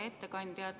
Hea ettekandja!